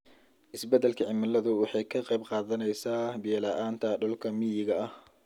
Isbeddelka cimiladu waxay ka qayb qaadanaysaa biyo-la'aanta dhulka miyiga ah.